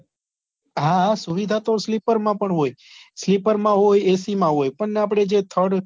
હા હા સુવિધા તો slippar માં પણ હોય slippar માં હોય ac માં હોય પણ આપણે જે thired